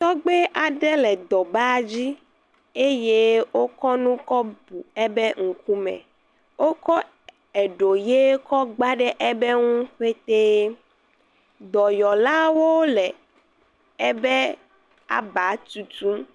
Tɔgbe aɖe le edɔ badzi eye wokɔ enu ɣi kɔ bu eƒe ŋkume. Wokɔ eɖo ɣi kɔ gbã ɖe eƒe nuie petee. Dɔyɔla aɖe le eƒe aʋa tutum.